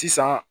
Sisan